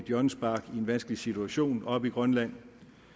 hjørnespark i en vanskelig situation oppe i grønland